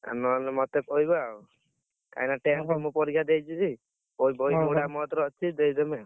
ଆଉ ନହେଲେ, ମତେ କହିବ ଆଉ, କାହିଁକିନା tenth ମୁଁ ପରୀକ୍ଷା ଦେଇଥିଲି। ବହି ଗୁଡା ମୋ କତିରେ, ଅଛି ଦେଇଦେମି।